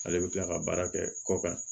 Ale bɛ tila ka baara kɛ kɔ kan